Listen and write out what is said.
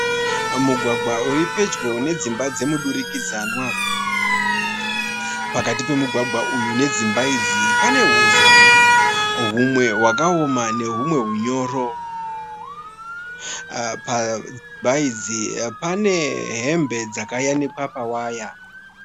Mugwagwa uripedyo nedzimba dzemudurikidzanwa. Pakati pemugwagwa uyu nedzimba idzi panehuswa humwe hwakaoma nehumwe hunyoro. Padzimba idzi pane hembe dzakayanikwa pawaya.